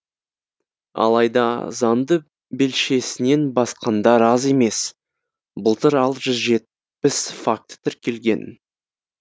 алайда заңды белшесінен басқандар аз емес былтыр алты жүз жетпіс факті тіркелген